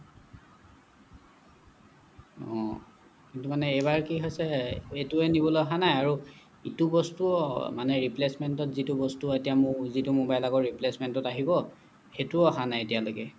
অহ কিন্তু মানে এইবাৰ কি হৈছে এইটোৱে নিবলৈ আহা নাই আৰু ইটো বস্তু মানে replacement ত যিটো বস্তু এতিয়া মোৰ যিটো মোবাইল আগৰ replacement ত আহিব সেইটোও অহা নাই এতিয়ালৈকে